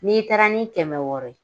N'i taara ni kɛmɛ wɔɔrɔ ye